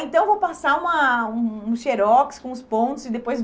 Então vou passar uma um um xerox com os pontos e depois